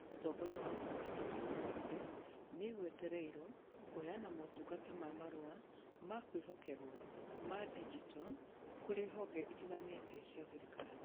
Ũtongoria wa Ũhoro na Teknoroji nĩ ĩgwetereirwo kũheana motungata ma Marũa ma kwĩhokerwo ma digito kũrĩ honge itiganĩte cia thirikari.